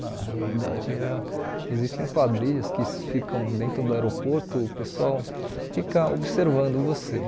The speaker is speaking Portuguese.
Na realidade, existem quadrilhas que ficam dentro do aeroporto, o pessoal fica observando você.